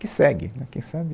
Que segue né, quem sabe